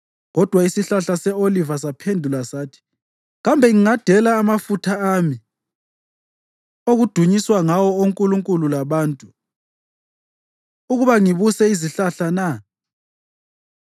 Kodwa isihlahla se-oliva saphendula sathi, ‘Kambe ngingadela amafutha ami, okudunyiswa ngawo onkulunkulu labantu, ukuba ngibuse izihlahla na?’